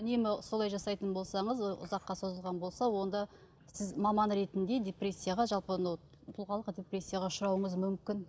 үнемі солай жасайтын болсаңыз ұзаққа созылған болса онда сіз маман ретінде депрессияға жалпы анау тұлғалық депрессияға ұшырауыңыз мүмкін